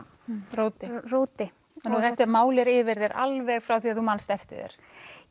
róti róti þannig þetta mál er yfir þér alveg frá því að þú manst eftir þér